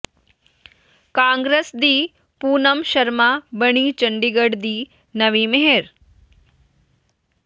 ਕਾਂਗਰਸ ਦੀ ਪੂਨਮ ਸ਼ਰਮਾ ਬਣੀ ਚੰਡੀਗੜ੍ਹ ਦੀ ਨਵੀਂ ਮੇਅਰ